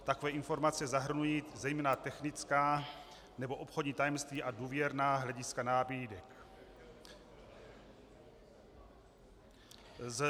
Takové informace zahrnují zejména technická nebo obchodní tajemství a důvěrná hlediska nabídek.